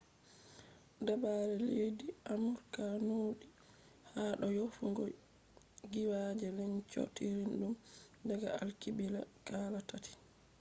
dabare leddi amurka nuudi ha do yofugo giiwaaje lencootiridum daga alkibila kala tati